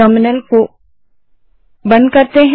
terminal को बंद करें